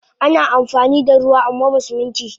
Ana amfanida ruwa amwaba Siminti